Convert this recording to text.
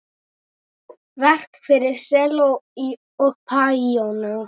Verk fyrir selló og píanó.